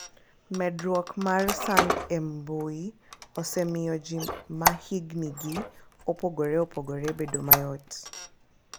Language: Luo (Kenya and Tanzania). Medruok mar sand e mbui osemiyo ji ma hignigi opogore opogore bedo mayot,